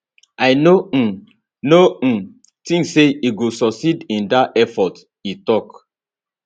i no um no um tink say e go succeed in dat effort e tok